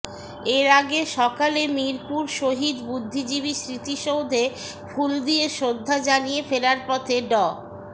এর আগে সকালে মিরপুর শহীদ বুদ্ধিজীবী স্মৃতিসৌধে ফুল দিয়ে শ্রদ্ধা জানিয়ে ফেরার পথে ড